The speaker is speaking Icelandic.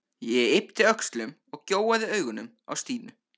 Ég yppti öxlum og gjóaði augunum á Stínu.